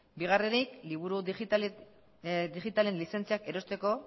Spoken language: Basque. bigarrenik liburu digitalen lizentziak erosteko